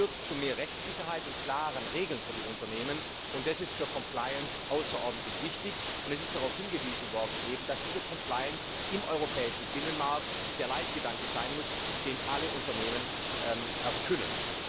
Beides führt zu mehr Rechtssicherheit und klaren Regeln für die Unternehmen, und das ist für außerordentlich wichtig, und es ist darauf hingewiesen worden, dass diese im europäischen Binnenmarkt der Leitgedanke sein muss, den alle Unternehmen erfüllen.